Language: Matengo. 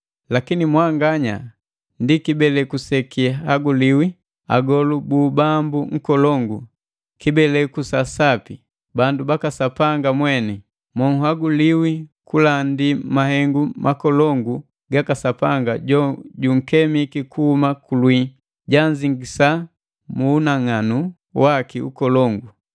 Lakini mwanganya ndi kibeleku sekihaguliwi, agolu bu ubambu nkolongu, kibeleku sa sapi; bandu baka Sapanga mweni, monhaguliwi kulandi mahengu makolongu gaka Sapanga jojunkemi kuhuma kulwii, janzingisa mu unang'anu waki nkolongu.